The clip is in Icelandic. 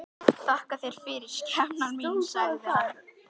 Þakka þér fyrir, skepnan mín, sagði hann.